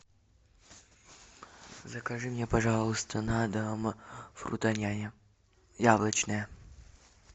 закажи мне пожалуйста на дом фрутоняня яблочная